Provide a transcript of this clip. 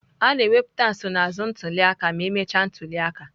A na-ewepụta nsonaazụ ntuli aka ka emechara ntuli aka.